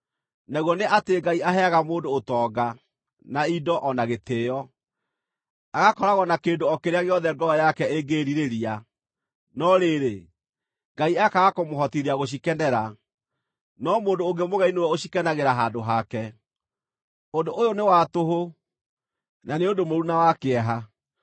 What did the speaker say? Naguo nĩ atĩ Ngai aheaga mũndũ ũtonga, na indo, o na gĩtĩĩo, agakoragwo na kĩndũ o kĩrĩa gĩothe ngoro yake ĩngĩĩrirĩria, no rĩrĩ, Ngai akaaga kũmũhotithia gũcikenera, no mũndũ ũngĩ mũgeni nĩwe ũcikenagĩra handũ hake. Ũndũ ũyũ nĩ wa tũhũ, na nĩ ũndũ mũũru na wa kĩeha.